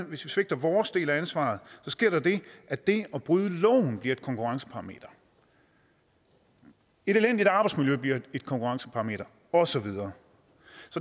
vi svigter vores del af ansvaret sker der det at det at bryde loven bliver et konkurrenceparameter et elendigt arbejdsmiljø bliver et konkurrenceparameter og så videre